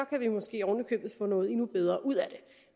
kan vi måske oven i købet få noget endnu bedre ud af det